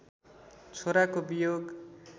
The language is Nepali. छोराको वियोग